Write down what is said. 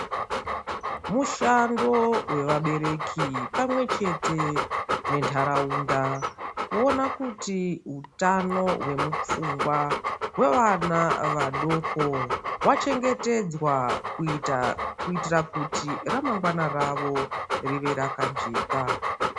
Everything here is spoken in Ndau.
Mushando vevabereki pamwe chete nentaraunda. Kuona kuti hutano hwemupfungwa vevana vadoko vachengetedzwa. Kuita kuitira kuti ramangwa ravo rive rakajeka.